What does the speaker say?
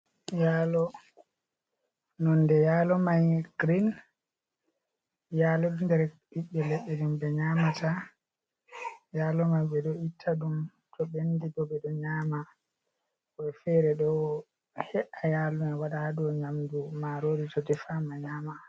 Yalo, nonde yalo mai girin. Yalo ɗo nder ɓiɓɓe leɗɗe jei ɓe nyamata, yalo mai ɓe ɗo itta ɗum to ɓendi bo ɓe ɗo nyaama, woɓɓe fere ɗo he’a yalo mai waɗa ha dou nyamdu marori to defama nyama.